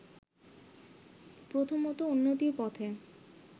প্রথমতঃ উন্নতির পথে